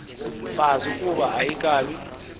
mfazi ukuba ayikabi